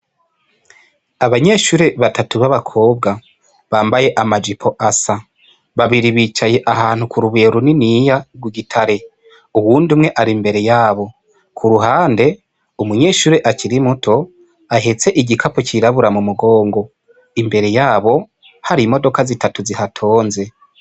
Abanyeshure batatu b'abakobwa, bambaye amajipo asa, babiri bicaye ahantu k'urubuye runiniya rw'igitare, uyundi umwe ari imbere yabo, k'uruhande umunyeshure akiri muto ahetse igikapu c'irabura m'umugongo, imbere yabo hari imodoka zitatu zihatonze.